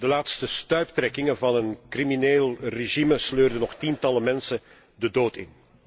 De laatste stuiptrekkingen van een crimineel regime sleurden nog tientallen mensen de dood in.